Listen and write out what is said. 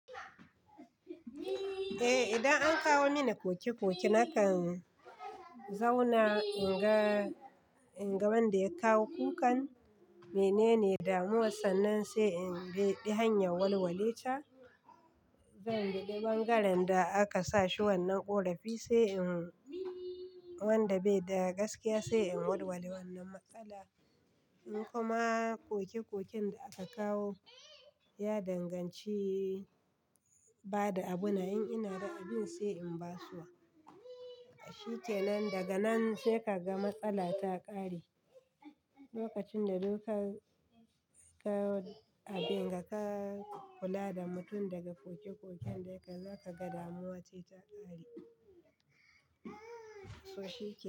Eh, idan an kawo mini koki koki, na kan zauna in ga wanda ya kawo kukan, menene damuwarsa nan sai in bi hanyar walwale ca zan bi bangaren da aka sa shi wannan ƙorafi, sai in wanda bai da gaskiya sai in walwali wannan matsala. In kuma koki kokin da aka kawo ya danganci bada abu na, in ina da abin sai in basu wa. Shi kenan, daga nan sai ka ga matsala ta ƙare. Lokacin da duk an kawo abin, ka kula da mutum daga koki kokin da ya kawo, zaka ga damuwa ce ta ƙare. To shi kenan.